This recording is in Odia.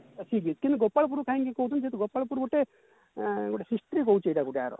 ଅଛି ବି କିନ୍ତୁ ଗୋପାଳପୁର କାହିଁକି କହୁଛି ଯେହେତୁ ଗୋପାଳପୁର ଗୋଟେ ଅ history ରହୁଛି ଗୋଟେ ଆର